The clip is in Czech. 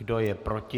Kdo je proti?